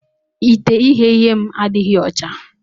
Ite ighe ihe m adighi ọcha.